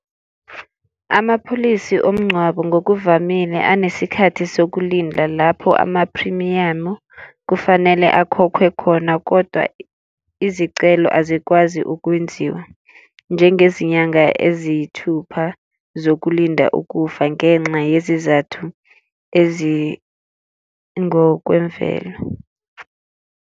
Amapholisi omngcwabo ngokuvamile anesikhathi sokulinda lapho amaphrimiyamu kufanele akhokhwe khona, kodwa izicelo azikwazi ukwenziwa njengezinyanga eziyithupha zokulinda ukufa ngenxa yezizathu ezingokwemvelo.